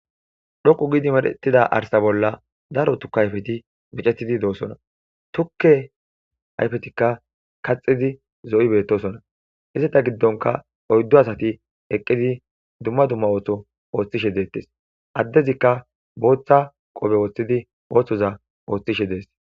Dhoqqu giidi mereththida arssa bolla daro tukke ayfethi micettidi doosona; tukke ayfetikka kaxxidi zo7i beettoosona; izetha giddonkka oyddu asathi eqqidi dumma dumma ootho ooththishe de7ees; addezikka bootha qobe wothidi oosoza oothishe des.